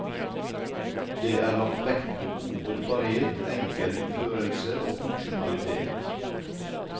Det er lagt vekt på god holdbarhet, enkel utførelse og funksjonalitet.